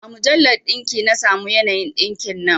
A mujallar ɗinki na samo yanayin ɗinkin nan